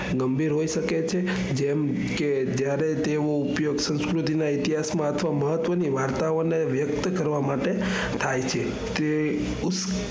ગંભીર હોય શકે છે જેમ કે જ્યારે તેનો ઉપયોગ સંસ્કૃતિ ના ઇતિહાસ માં અથવા મહત્વની વાર્તાઓ ને વ્યકત કરવા માટે થાય છે. તે